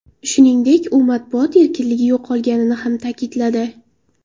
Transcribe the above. Shuningdek, u matbuot erkinligi yo‘qolganini ham ta’kidladi.